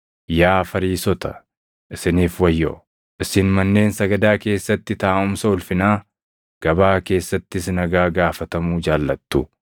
“Yaa Fariisota, isiniif wayyoo! Isin manneen sagadaa keessatti taaʼumsa ulfinaa, gabaa keessattis nagaa gaafatamuu jaallattu.